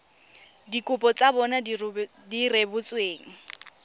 dikopo tsa bona di rebotsweng